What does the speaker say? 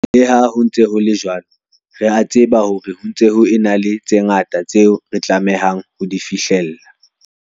Le ha ho ntse ho le jwalo, re a tseba hore ho ntse ho ena le tse ngata tseo re tlamehang ho di fihlella.